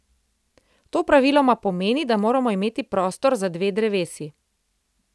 To praviloma pomeni, da moramo imeti prostor za dve drevesi.